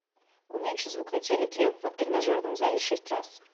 уменьши звук на телике в тренажерном зале шесть раз